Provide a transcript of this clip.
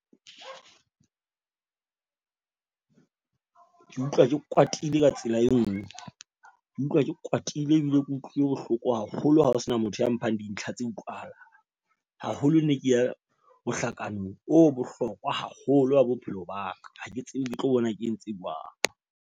Ke utlwa ke kwatile ka tsela e nngwe, ke utlwa ke kwatile ebile ke utlwile bohloko haholo. Ha ho sena motho ya mphang dintlha tse utlwahalang. Haholo ne ke ya mohlakanong o bohlokwa haholo wa bophelo ba ka. Ha ke tsebe, ke tlo bona, ke entse jwang.